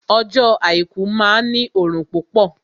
Ọjọ́ àìkú máa ní òrùn púpọ̀